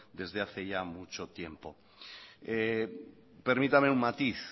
desde hace ya mucho tiempo permítame un matiz